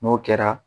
N'o kɛra